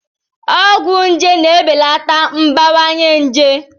Ọgwụ nje na-ebelata mbawanye njé.